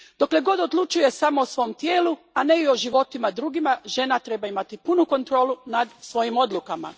Dok odlučuje samo o svom tijelu, a ne i o životima drugih, žena treba imati punu kontrolu nad svojim odlukama.